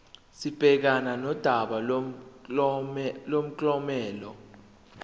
sibhekane nodaba lomklomelo